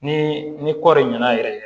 Ni ni kɔɔri ɲɛna yɛrɛ